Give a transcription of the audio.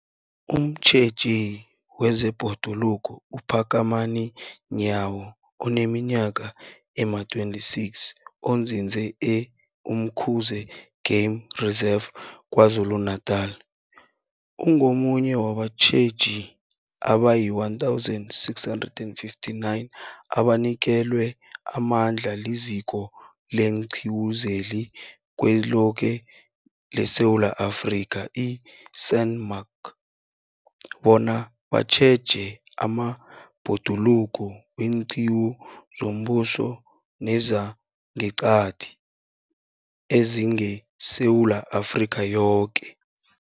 Umtjheji wezeBhoduluko uPhakamani Nyawo oneminyaka ema-26, onzinze e-Umkhuze Game Reserve KwaZulu-Natala, ungomunye wabatjheji abayi-1 659 abanikelwe amandla liZiko leenQiwu zeliZweloke leSewula Afrika, i-SANMark, bona batjheje amabhoduluko weenqiwu zombuso nezangeqadi ezingeSewula Afrika yoke.